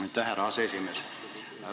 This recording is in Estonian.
Aitäh, härra aseesimees!